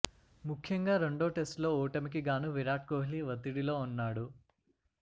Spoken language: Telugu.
ముఖ్యంగా రెండో టెస్టులో ఓటమికి గాను విరాట్ కోహ్లీ ఒత్తిడిలో ఉన్నాడు